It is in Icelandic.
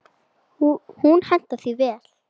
Hún hentar því vel.